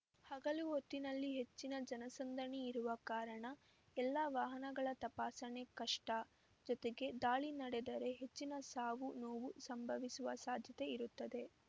ಹಗಲು ಹೊತ್ತಿನಲ್ಲಿ ಹೆಚ್ಚಿನ ಜನಸಂದಣಿ ಇರುವ ಕಾರಣ ಎಲ್ಲಾ ವಾಹನಗಳ ತಪಾಸಣೆ ಕಷ್ಟ ಜೊತೆಗೆ ದಾಳಿ ನಡೆದರೆ ಹೆಚ್ಚಿನ ಸಾವು ನೋವು ಸಂಭವಿಸುವ ಸಾಧ್ಯತೆ ಇರುತ್ತದೆ